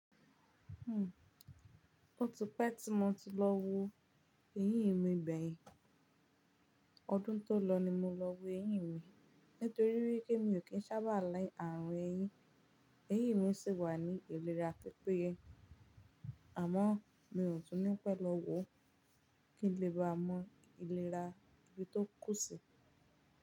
Ó ti pẹ́ tí mo ti lọ wo eyín mi gbẹ́ yin, ọdún tó lọ ni mo lọ wo eyín mi. Nítorí wipé mí ò kí ń sábà like ààrùn eyín, eyín mi sì wà ní ìlera pípéye. Àmọ́ mi ò tún ní pẹ́ lọ wo, kí n lè bá mọ ìlera tí ó kù sí.